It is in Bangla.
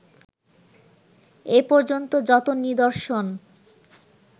এপর্যন্ত যত নিদর্শন